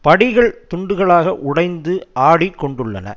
படிகள் துண்டுகளாக உடைந்து ஆடிக்கொண்டுள்ளன